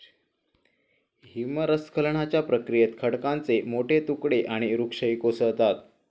हिमस्खलनाच्या प्रक्रियेत खडकांचे मोठे तुकडे आणि वृक्षही कोसळतात.